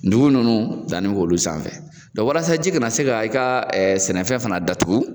Dugu nunnu danni kɛ olu sanfɛ dɔn walasa ji kana se ka i ka ɛ i ka sɛnɛfɛn fana datugu